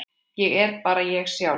Ég er bara ég sjálf.